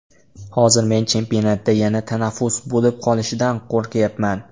Hozir men chempionatda yana tanaffus bo‘lib qolishidan qo‘rqyapman.